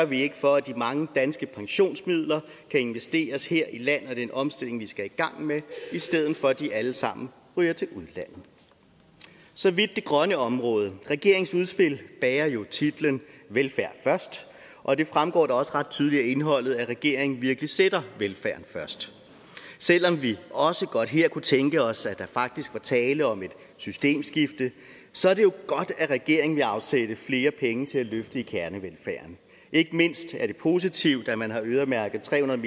vi ikke for at de mange danske pensionsmidler kan investeres her i landet og i den omstilling vi skal i gang med i stedet for at de alle sammen ryger til udlandet så vidt det grønne område regeringens udspil bærer jo titlen velfærd først og det fremgår da også ret tydeligt af indholdet at regeringen virkelig sætter velfærden først selv om vi også godt her kunne tænke os at der faktisk var tale om et systemskifte så er det jo godt at regeringen vil afsætte flere penge til at løfte kernevelfærden ikke mindst er det positivt at man har øremærket tre hundrede